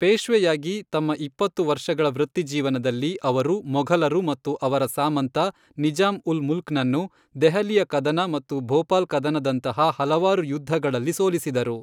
ಪೇಶ್ವೆಯಾಗಿ ತಮ್ಮ ಇಪ್ಪತ್ತು ವರ್ಷಗಳ ವೃತ್ತಿಜೀವನದಲ್ಲಿ, ಅವರು ಮೊಘಲರು ಮತ್ತು ಅವರ ಸಾಮಂತ ನಿಜಾಂ ಉಲ್ ಮುಲ್ಕ್ನನ್ನು ದೆಹಲಿಯ ಕದನ ಮತ್ತು ಭೋಪಾಲ್ ಕದನದಂತಹ ಹಲವಾರು ಯುದ್ಧಗಳಲ್ಲಿ ಸೋಲಿಸಿದರು.